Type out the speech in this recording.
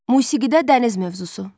Musiqidə dəniz mövzusu.